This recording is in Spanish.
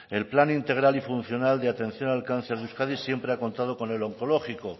en plan integral y funcional de atención al cáncer de euskadi siempre ha contado con el onkologiko